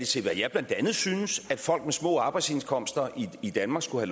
til hvad jeg blandt andet synes at folk med små arbejdsindkomster i danmark skulle